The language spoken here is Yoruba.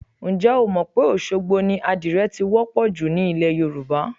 Ǹjẹ́ o mọ̀ pé Òṣogbo ni àdìrẹ ti wọ́ pọ̀ jù ní ilẹ̀ Yorùbá?